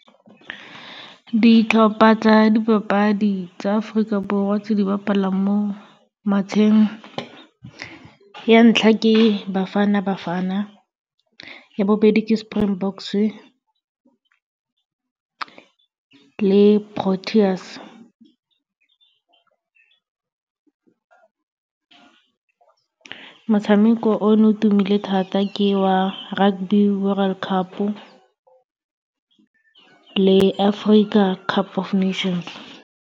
Ditlhopha tsa dipapadi tsa Aforika Borwa tse di bapalang mo matsheng, ya ntlha ke Bafana Bafana, ya bobedi ke Springboks-e le Proteas. Motshameko o ne o tumile thata ke wa Rugby World Cup-o le Africa Cup of Nations.